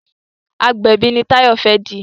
agbẹbi ní Tayo fè di.